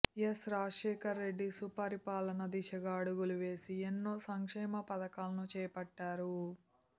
yes Rajasekhara Reddy సుపరిపాలన దిశగా అడుగులు వేసి ఎన్నో సంక్షేమ పథకాలను చేపట్టారు